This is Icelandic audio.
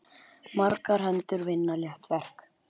Margar hendur vinna létt verk.